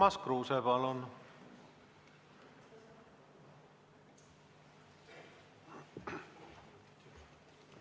Urmas Kruuse, palun!